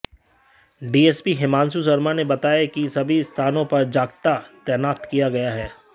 DSP Himanshu Sharma ने बताया कि सभी स्थानों पर जाप्ता तैनात किया गया है